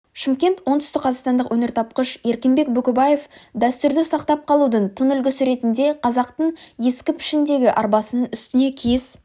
шымкент оңтүстікқазақстандық өнертапқыш еркінбек бөкебаев дәстүрді сақтап қалудың тың үлгісіретінде қазақтың ескі пішіндегі арбасының үстіне киіз